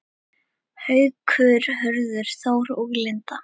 Haukur, Hörður Þór og Linda.